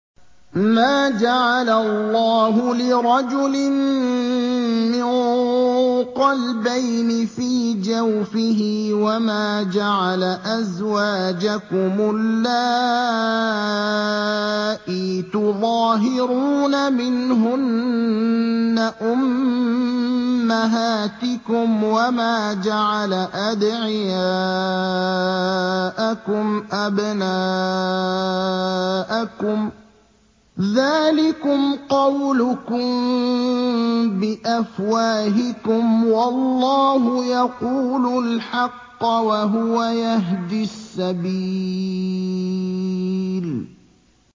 مَّا جَعَلَ اللَّهُ لِرَجُلٍ مِّن قَلْبَيْنِ فِي جَوْفِهِ ۚ وَمَا جَعَلَ أَزْوَاجَكُمُ اللَّائِي تُظَاهِرُونَ مِنْهُنَّ أُمَّهَاتِكُمْ ۚ وَمَا جَعَلَ أَدْعِيَاءَكُمْ أَبْنَاءَكُمْ ۚ ذَٰلِكُمْ قَوْلُكُم بِأَفْوَاهِكُمْ ۖ وَاللَّهُ يَقُولُ الْحَقَّ وَهُوَ يَهْدِي السَّبِيلَ